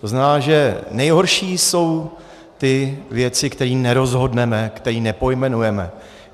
To znamená, že nejhorší jsou ty věci, které nerozhodneme, které nepojmenujeme.